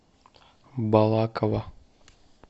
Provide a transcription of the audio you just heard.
балаково